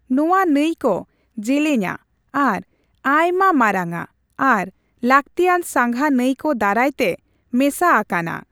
ᱱᱚᱣᱟ ᱱᱟᱹᱭ ᱠᱚ ᱡᱮᱹᱞᱮᱹᱧᱟ ᱟᱨ ᱟᱭᱢᱟ ᱢᱟᱨᱟᱝᱟ ᱟᱨ ᱞᱟᱹᱠᱛᱤᱭᱟᱱ ᱥᱟᱸᱜᱷᱟ ᱱᱟᱹᱭ ᱠᱚ ᱫᱟᱨᱟᱭᱛᱮ ᱢᱮᱥᱟ ᱟᱠᱟᱱᱟ ᱾